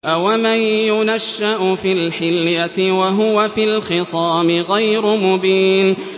أَوَمَن يُنَشَّأُ فِي الْحِلْيَةِ وَهُوَ فِي الْخِصَامِ غَيْرُ مُبِينٍ